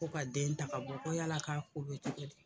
Ko ka den ta ka bɔ ko yala k'a ko bɛ cogo di ?